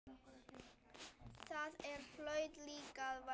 Það hlaut líka að vera.